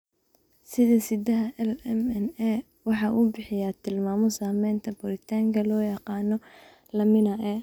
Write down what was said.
Hidde-sidaha LMNA waxa uu bixiyaa tilmaamo samaynta borotiinka loo yaqaan lamin A.